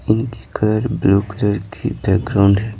इनकी colour blue colour की background है।